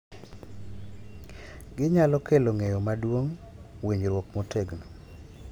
Ginyalo kelo ng’eyo maduong’, winjruok motegno,